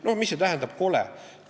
No mis see tähendab – kole?